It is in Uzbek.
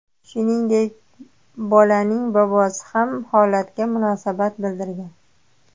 Shuningdek, bolaning bobosi ham holatga munosabat bildirgan.